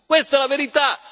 Questa è la verità.